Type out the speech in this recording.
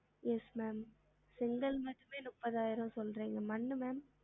Yes ma'am செங்கல் மட்டுமே முப்பதாயிரம் சொல்றிங்க மண் ma'am